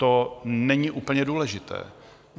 To není úplně důležité.